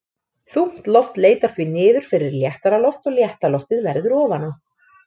Þungt loft leitar því niður fyrir léttara loft og létta loftið verður ofan á.